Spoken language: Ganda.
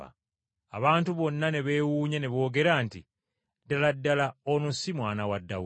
Abantu bonna ne beewuunya ne boogera nti, “Ddala ddala ono si mwana wa Dawudi?”